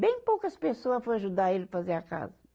Bem poucas pessoa foi ajudar ele fazer a casa.